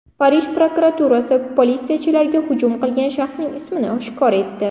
Parij prokuraturasi politsiyachilarga hujum qilgan shaxsning ismini oshkor etdi.